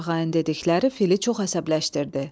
Torağayın dedikləri fili çox əsəbləşdirdi.